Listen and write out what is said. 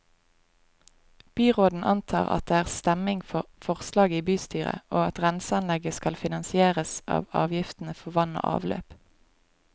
Byråden antar at det er stemning for forslaget i bystyret, og at renseanlegget skal finansieres av avgiftene for vann og avløp.